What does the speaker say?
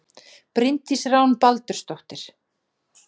Bryndís Rún Baldursdóttir